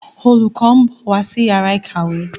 Olùkó nbọ wá sí Yàrá ìkàwé.